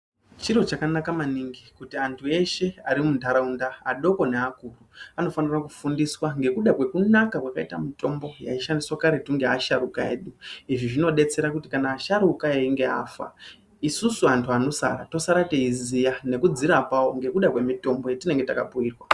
Chiro chakanaka manhingi kuti antu eshe ari muntaraunda adoko neakuru anofanira kufundiswa ngekuda kwekunaka kwakaita mitombo yaishandiswa karetu ngeasharukwa edu. Izvi zvinodetsera kuti kuti kana asharukwa eyinge afa, isusu antu anosara tosara teyiziva ngekudzirapawo ngekuda kwemitombo yatinenge takapuyirwa.